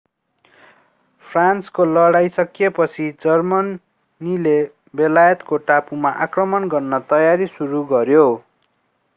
फ्रान्सको लडाईं सकिएपछि जर्मनीले बेलायतको टापुमा आक्रमण गर्ने तयारी सुरु गर्यो